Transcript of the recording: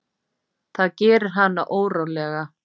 Það gerir hana órólega.